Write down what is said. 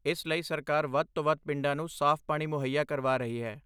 ਇਸ ਲਈ ਸਰਕਾਰ ਵੱਧ ਤੋਂ ਵੱਧ ਪਿੰਡਾਂ ਨੂੰ ਸਾਫ਼ ਪਾਣੀ ਮੁਹੱਈਆ ਕਰਵਾ ਰਹੀ ਹੈ।